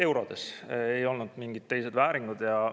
Eurodes, ei olnud mingid teised vääringud!